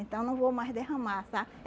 Então não vou mais derramar, sabe?